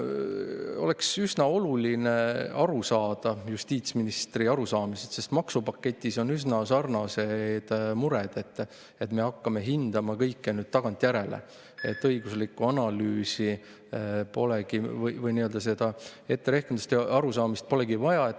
On üsna oluline aru saada justiitsministri arusaamisest, sest maksupaketis on üsna sarnased mured, me hakkame nüüd kõike hindama tagantjärele, õiguslikku analüüsi või nii-öelda etterehkendust ja arusaamist polegi vaja.